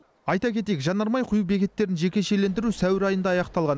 айта кетейік жанармай құю бекеттерін жекешелендіру сәуір айында аяқталған